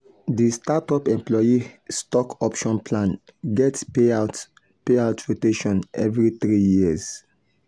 di startup employee stock option plan get payout payout rotation every three years.